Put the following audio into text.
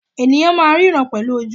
Ènìyàn máà ń ríran pẹ̀lú ojú wọn.